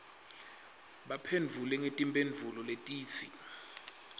baphendvule ngetimphendvulo letitsi